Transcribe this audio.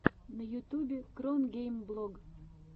на ютьюбе кронгеймблог